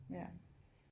Ja